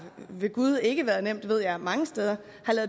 ved gud ikke været nemt ved jeg mange steder